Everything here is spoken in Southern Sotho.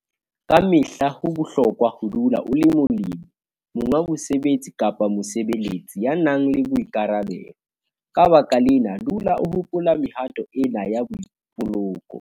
Ka mehla ho bohlokwa ho dula o le molemi, monga mosebetsi kapa mosebeletsi, ya nang le boikarabelo. Ka baka lena, dula o hopola mehato ena ya boipoloko.